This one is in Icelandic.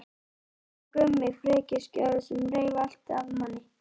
Nema Gummi frekjuskjóða sem reif allt af manni.